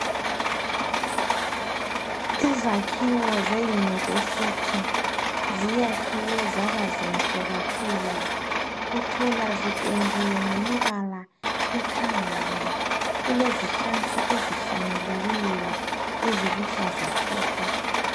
Izakhiwo ze yunivesithi ziyakhiwe zaba zinhle kakhulu uthola zipendiwe ngemibala ekhangayo. Kulezihlahla ezihlanyeliweyo eziluhlaza tshoko.